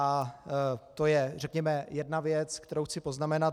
A to je řekněme jedna věc, kterou chci poznamenat.